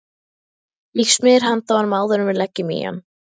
Ég smyr handa honum áður en við leggjum í hann.